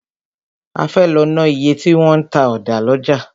A fẹ́ lọ ná iye tí wọn ń ta ọ̀dà lọ́jà.